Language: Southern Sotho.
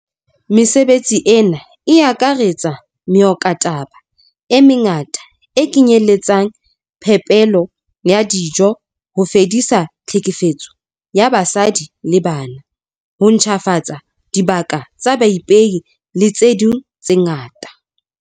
Mesebetsi ena e akaretsa meokotaba e mengata, e kenyeletsang phepelo ya dijo, ho fedisa tlhekefetso ya basadi le bana, ho ntjhafatsa dibaka tsa baipei le tse ding tse ngata.